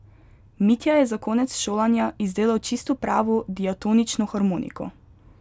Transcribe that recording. Mitja je za konec šolanja izdelal čisto pravo diatonično harmoniko.